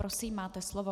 Prosím, máte slovo.